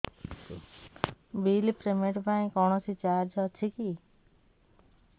bill payment ପାଇଁ କୌଣସି charge ଅଛି କି